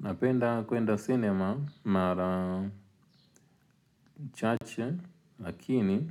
Napenda kwenda cinema mara chache lakini